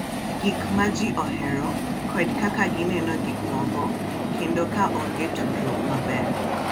Gik ma ji ohero, kod kaka gineno gik moko, kendo ka onge tudruok maber,